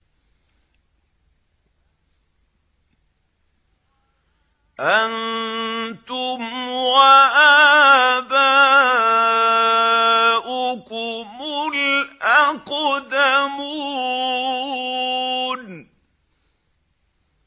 أَنتُمْ وَآبَاؤُكُمُ الْأَقْدَمُونَ